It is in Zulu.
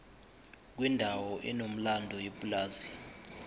kwendawo enomlando yepulazi